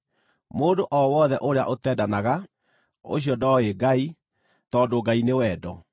Mũndũ o wothe ũrĩa ũtendanaga ũcio ndooĩ Ngai, tondũ Ngai nĩ wendo.